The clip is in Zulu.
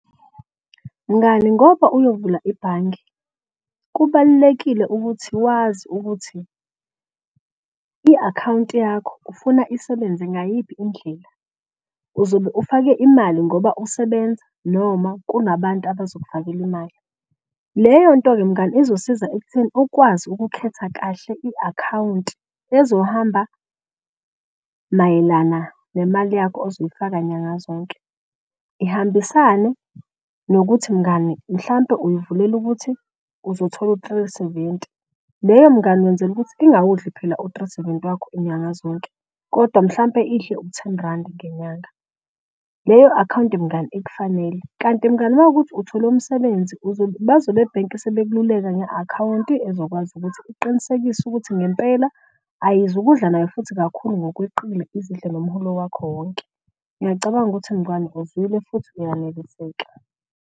Mngani ngoba uyovula ibhange kubalulekile ukuthi wazi ukuthi i-akhawunti yakho ufuna isebenze ngayiphi indlela. Uzobe ufake imali ngoba usebenza noma kungabantu bazokufakela imali. Leyonto ke mngani izosiza ekutheni ukwazi ukukhetha kahle i-akhawunti ezohamba mayelana nemali yakho ozoyifaka nyanga zonke. Ihambisane nokuthi mngani mhlampe uyivulele ukuthi uzothola u-three seventy. Leyo mngani wenzela ukuthi ingawudli phela u-three seventy wakho nyanga zonke kodwa mhlampe idle u-ten randi ngenyanga. Leyo akhawunti mngani ikufanele kanti mngani uma kuwukuthi uthole umsebenzi . Bazobe ebhenki sebekululeka nge-akhawunti ezokwazi ukuthi iqinisekise ukuthi ngempela ayizu ukudla nayo futhi kakhulu ngokweqile izidle nomholo kwakho wonke. Ngiyacabanga ukuthi mngani uzwile futhi uyaneliseka.